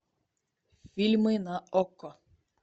фильмы на окко